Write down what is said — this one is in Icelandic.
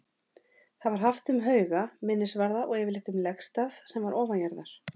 Það var haft um hauga, minnisvarða og yfirleitt um legstað sem var ofanjarðar.